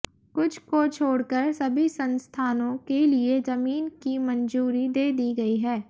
कुछ को छोड़कर सभी संस्थानों के लिए जमीन की मंजूरी दे दी गयी है